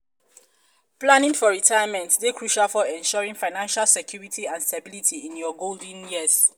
planning um for retirement um dey crucial for ensuring financial security and stability in your golden years.